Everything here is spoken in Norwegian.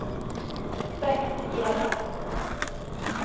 Bengt Hjelle